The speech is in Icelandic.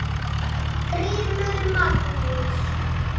GRÍMUR: Magnús!